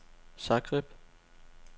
Zagreb